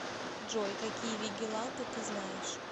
джой какие вигиланты ты знаешь